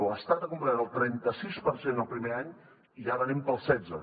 l’estat ha complert el trenta sis per cent el primer any i ara anem pel setze